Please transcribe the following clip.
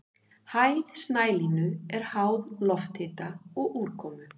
Hæð snælínu er háð lofthita og úrkomu.